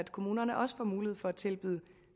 kommunerne også får mulighed for at tilbyde